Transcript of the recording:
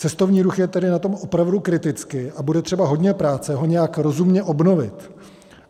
Cestovní ruch je tedy na tom opravdu kriticky a bude třeba hodně práce ho nějak rozumně obnovit.